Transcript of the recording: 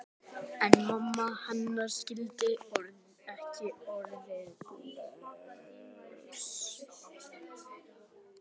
En mamma hennar skildi ekki orðið bless.